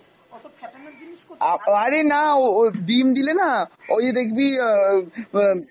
আ~ আরে না ও ও ডিম দিলেনা ওইযে দেখবি অ অ্যাঁ